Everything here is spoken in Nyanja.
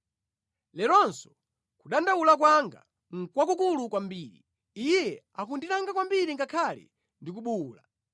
“Leronso kudandaula kwanga nʼkwakukulu kwambiri; Iye akundilanga kwambiri ngakhale ndi kubuwula.